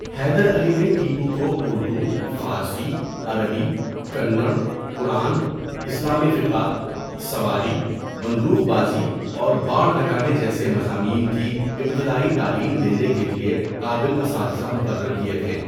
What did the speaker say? حیدر علی نے ٹیپو کو اردو، فارسی، عربی، کنَڑ، قرآن، اسلامی فقہ، سواری، بندوق بازی اور باڑ لگانے جیسے مضامین کی ابتدائی تعلیم دینے کے لیے قابل اساتذہ مقرر کیے تھے۔